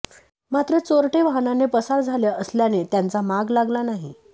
मात्र चोरटे वाहनाने पसार झाले असल्याने त्यांचा माग लागला नाही